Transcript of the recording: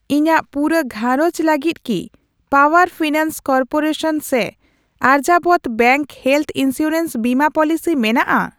ᱤᱧᱟᱜ ᱯᱩᱨᱟᱹ ᱜᱷᱟᱨᱚᱸᱡᱽ ᱞᱟᱹᱜᱤᱫ ᱠᱤ ᱯᱟᱣᱟᱨ ᱯᱷᱤᱱᱟᱱᱥ ᱠᱚᱨᱯᱚᱨᱮᱥᱚᱱ ᱥᱮ ᱟᱨᱡᱟᱵᱚᱨᱛᱚ ᱵᱮᱝᱠ ᱦᱮᱞᱛᱷ ᱤᱱᱥᱩᱨᱮᱱᱥ ᱵᱤᱢᱟᱹ ᱯᱚᱞᱤᱥᱤ ᱢᱮᱱᱟᱜᱼᱟ ?